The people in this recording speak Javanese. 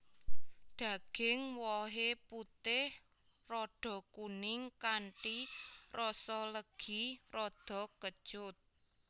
Daging wohé putih rada kuning kanthi rasa legi rada kecut